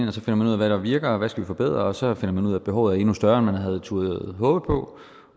og så finder man ud af hvad der virker og hvad man skal forbedre og så finder man ud af at behovet er endnu større end man havde turdet håbe på